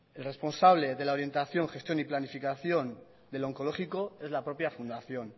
el responsable de la orientación gestión y planificación del oncológico es la propia fundación